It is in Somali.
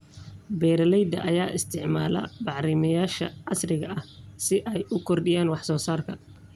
Beeralayda ayaa isticmaala bacrimiyeyaasha casriga ah si ay u kordhiyaan wax soo saarka.